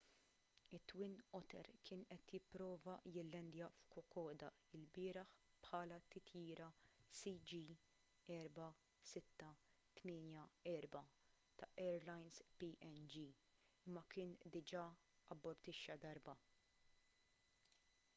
it-twin otter kien qed jipprova jillandja f'kokoda lbieraħ bħala t-titjira cg4684 ta' airlines png imma kien diġà abortixxa darba